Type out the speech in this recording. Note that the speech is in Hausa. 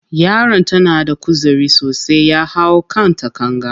Yaron ta na da kuzari sosai, ya hau kan takanga.